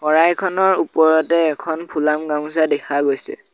শৰাইখনৰ ওপৰতে এখন ফুলাম গামোচা দেখা গৈছে।